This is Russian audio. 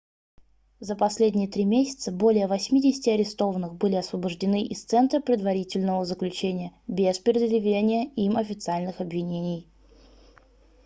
за последние 3 месяца более 80 арестованных были освобождены из центра предварительного заключения без предъявления им официальных обвинений